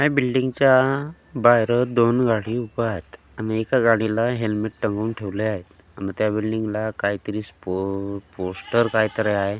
ह्या बिल्डींगच्या बाहेर दोन गाडी उभं आहेत आणि एक गाडीला हेल्मेट टंगून ठेवले आहे अन त्या बिल्डींगला काहीतरी स्पो पोष्टर काहीतरी आहे .